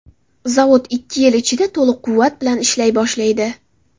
Zavod ikki yil ichida to‘liq quvvat bilan ishlay boshlaydi.